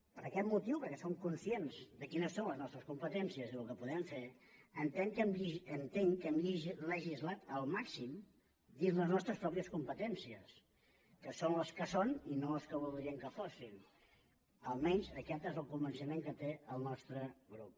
per aquest motiu perquè som conscients de quines són les nostres competències i el que podem fer entenc que hem legislat al màxim dins les nostres pròpies competències que són les que són i no les que voldríem que fossin almenys aquest és el convenciment que té el nostre grup